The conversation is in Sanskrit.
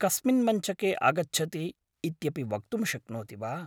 कस्मिन् मञ्चके आगच्छति इत्यपि वक्तुं शक्नोति वा ?